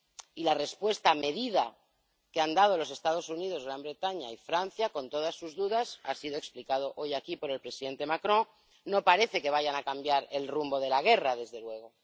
Y la respuesta medida que han dado los Estados Unidos, Gran Bretaña y Francia, con todas sus dudas —ha sido explicado hoy aquí por el presidente Macron—, no parece que vaya a cambiar el rumbo de la guerra, desde luego.